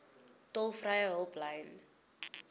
tolvrye hulplyn